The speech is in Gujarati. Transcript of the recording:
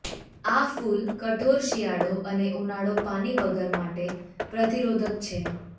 આ ફૂલ કઠોર શિયાળો અને ઉનાળો પાણી વગર માટે પ્રતિરોધક છે